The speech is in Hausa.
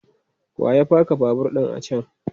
Wa ya paka babur ɗin a can?